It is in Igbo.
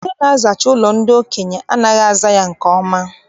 Ndị na-azacha ụlọ ndị okenye anaghị aza nke ọma.